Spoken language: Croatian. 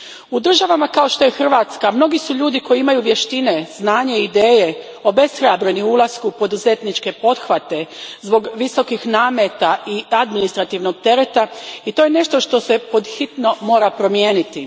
U državama kao što je Hrvatska mnogi su ljudi koji imaju vještine, znanje i ideje obeshrabreni u ulasku u poduzetničke pothvate zbog visokih nameta i administrativnog tereta i to je nešto što se pod hitno mora promijeniti.